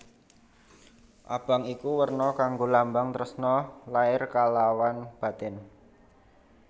Abang iku werna kanggo lambang tresna lair kalawan batin